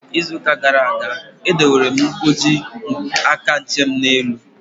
Ịzụ ụka gara aga, e dowere m nkwọji aka nche m n'elu tebụlu